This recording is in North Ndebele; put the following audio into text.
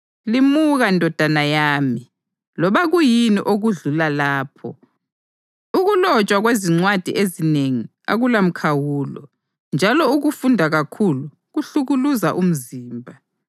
Limuka, ndodana yami, loba kuyini okudlula lapho. Ukulotshwa kwezincwadi ezinengi akulamkhawulo, njalo ukufunda kakhulu kuhlukuluza umzimba.